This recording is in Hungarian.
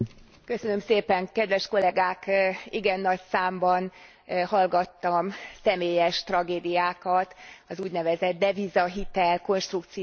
Igen nagy számban hallgattam személyes tragédiákat az úgynevezett deviza hitel konstrukció áldozataitól Magyarországon.